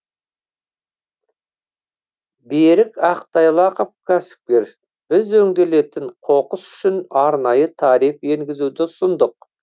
берік ақтайлақов кәсіпкер біз өңделетін қоқыс үшін арнайы тариф енгізуді ұсындық